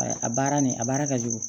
Ayi a baara nin a baara ka jugu